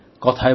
কথায় বলে